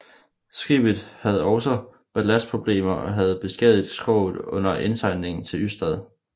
Skibet have også ballastproblemer og havde beskadiget skroget under indsejlingen til Ystad